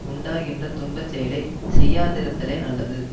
உண்டாகின்ற துன்பச்செயலைச் செய்யாதிருத்தலே நல்லது